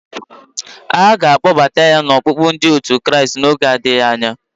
A ga-adọbata ya n'ọkpụkpụ ndi otu Kraịst n'oge na-adịghị anya.